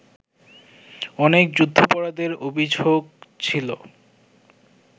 অনেক যুদ্ধাপরাধের অভিযোগ ছিল